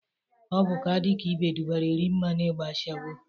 Ọ bụ ka a dị ka ibe dụbara Erimma n'igba ashawo